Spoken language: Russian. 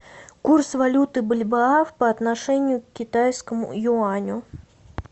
курс валюты бальбоа по отношению к китайскому юаню